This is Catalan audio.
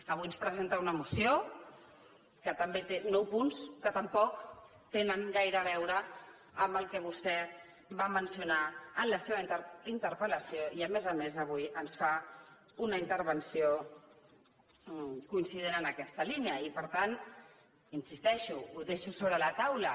avui ens presenta una moció que també té nou punts que tampoc tenen gaire a veure amb el que vostè va mencionar en la seva interpel·lació i a més a més avui ens fa una intervenció coincident amb aquesta línia i per tant hi insisteixo ho deixo sobre la taula